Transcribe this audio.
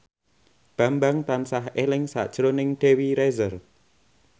Bambang tansah eling sakjroning Dewi Rezer